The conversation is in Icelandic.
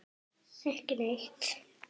Ekki neitt.